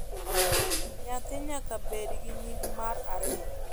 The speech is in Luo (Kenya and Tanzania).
Nyathi nyaka bed gi nying mar ariyo